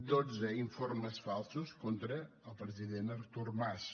dotze informes falsos contra el president artur mas